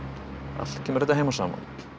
allt kemur þetta heim og saman